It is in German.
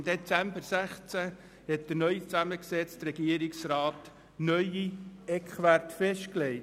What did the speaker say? Im Dezember 2016 legte der neu zusammengesetzte Regierungsrat neue Eckwerte fest.